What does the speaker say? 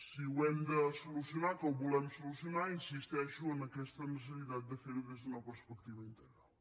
si ho hem de solucionar que ho volem solucionar insisteixo en aquesta necessitat de fer ho des d’una perspectiva integral